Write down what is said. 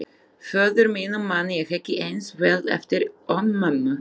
Föður mínum man ég ekki eins vel eftir og mömmu.